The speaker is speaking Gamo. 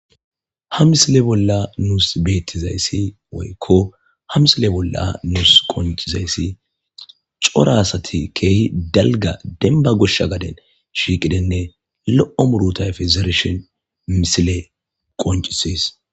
ha misile bolla nuus beettizayssi woykko ha misile bolla nuus qoncizayssi cora asati keehi dalga denba goshsha gaden shiiqidenne lo'o muruta ayfe zereshen misile qoncises